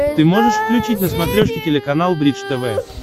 ты можешь включить на смотрешке телеканал бридж тв